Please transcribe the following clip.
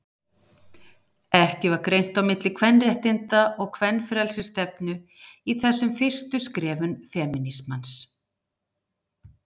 Ekki var greint á milli kvenréttinda- og kvenfrelsisstefnu í þessum fyrstu skrefum femínismans.